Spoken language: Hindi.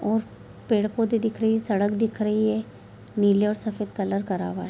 और पेड़-पौधे दिख रहे हैं सड़क दिख रही है नीले और सफ़ेद कलर करा हुआ है।